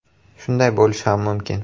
Shunday bo‘lishi ham mumkin.